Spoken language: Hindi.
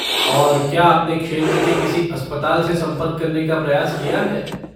और, क्या आपने क्षेत्र के किसी अस्पताल से संपर्क करने का प्रयास किया है?